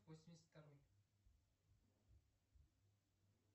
восемьдесят второй